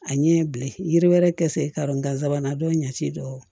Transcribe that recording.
A ɲɛ bilen yiri wɛrɛ kɛ sen karon gansanbana dɔw ɲɛ ci do